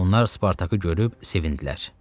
Onlar Spartakı görüb sevindilər.